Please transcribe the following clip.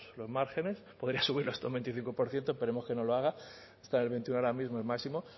los márgenes poder asumirlo hasta un veinticinco por ciento esperemos que no lo haga está en el veintiuno ahora mismo el máximo